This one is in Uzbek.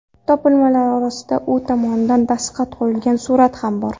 Topilmalar orasida u tomonidan dastxat qo‘yilgan surat ham bor.